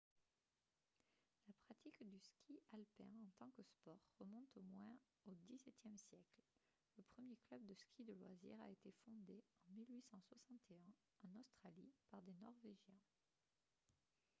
la pratique du ski alpin en tant que sport remonte au moins au xviie siècle le premier club de ski de loisirs a été fondé en 1861 en australie par des norvégiens